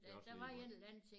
Det også ligemeget